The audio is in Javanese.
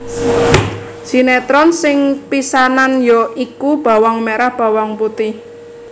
Sinetron sing pisanan ya iku Bawang Merah Bawang Putih